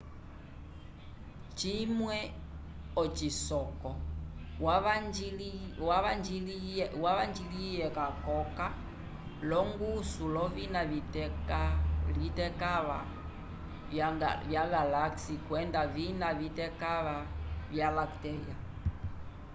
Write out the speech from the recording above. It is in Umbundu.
cimwe ocisoko wavanjiliye ca koka longusu lovina vitekava ya galaxia kwenda vina vitekava via lactea